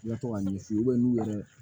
I ka to ka ɲɛ f'i ye n'u yɛrɛ